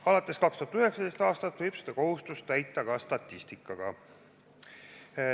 Alates 2019. aastast võib seda kohustust täita ka statistikaga.